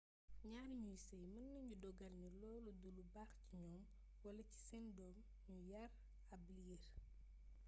ñaar ñuy sey mën nañu dogal ni loolu du lu baax ci ñoom wala ci seen doom ñu yar ab liir